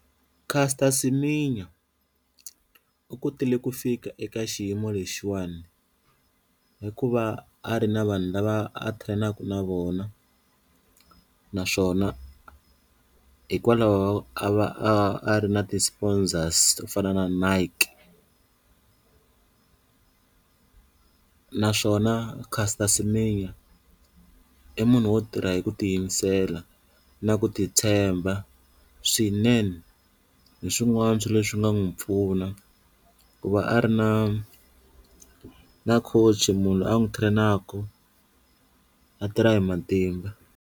Caster Semenya u kotile ku fika eka xiyimo lexiwani hikuva a ri na vanhu lava a train-aka na vona naswona hikwalaho a va a a ri na ti-sponsors to fana na Nike, naswona Caster Semenya i munhu wo tirha hi ku tiyimisela na ku titshemba swinene hi swin'wana swa leswi nga n'wi pfuna ku va a ri na na coach, munhu loyi a n'wi train-aka a tirha hi matimba.